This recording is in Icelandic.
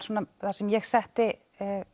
svona það sem ég setti